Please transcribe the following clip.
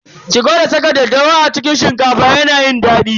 Ki gwada saka daddawa a cikin shinkafa yana yin daɗi.